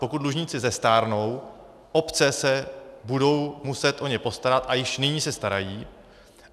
Pokud dlužníci zestárnou, obce se budou muset o ně postarat a již nyní se starají.